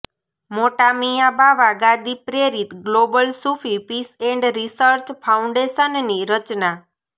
મોટામિયા બાવા ગાદી પ્રેરિત global Sufi peace and research ફાઉન્ડેશનની રચના